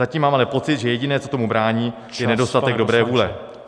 Zatím mám ale pocit, že jediné, co tomu brání, je nedostatek dobré vůle.